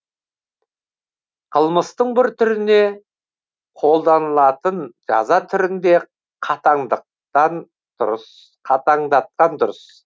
қылмыстың бір түріне қолданылатын жаза түрін де қатаңдатқан дұрыс